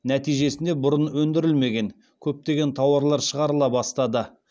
нәтижесінде бұрын өндірілмеген көптеген тауарлар шығарыла бастады